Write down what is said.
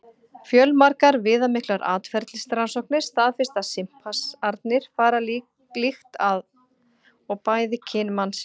Fjölmargar viðamiklar atferlisrannsóknir staðfesta að simpansarnir fara líkt að og bæði kyn mannsins.